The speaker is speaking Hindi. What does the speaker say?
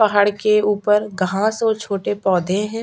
पहाड़ के ऊपर घास और छोटे पौधे है।